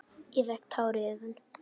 Ég fékk tár í augun.